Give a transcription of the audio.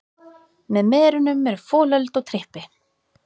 Með merunum eru folöld og trippi.